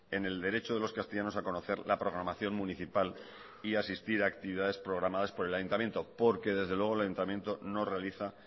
en el derecho de los castellanos a conocer la programación municipal y asistir a actividades programadas por el ayuntamiento porque desde luego el ayuntamiento no realiza